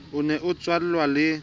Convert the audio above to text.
o ne a tswallwang le